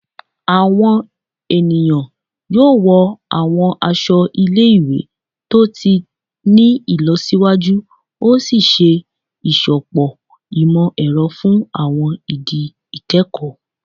Awọn eniyan yoo wọ awọn aṣọ ile-iwe to ti ni ilọsiwaju, o ṣee ṣe iṣọpọ imọ-ẹrọ fun awọn idi ikẹkọ